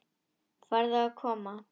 Farðu að koma.